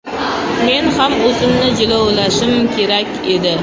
Men ham o‘zimni jilovlashim kerak edi.